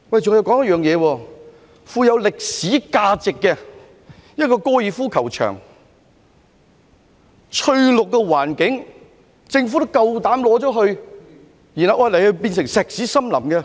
再說，一個富有歷史價值的高爾夫球場，擁有翠綠的環境，政府也膽敢收回，然後把它變成石屎森林。